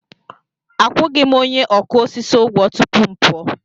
Akwụghị m onye ọkụ osisi ụgwọ tupu m pụọ.